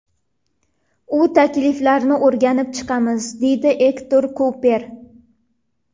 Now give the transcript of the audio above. U takliflarni o‘rganib chiqamiz”, deydi Ektor Kuper.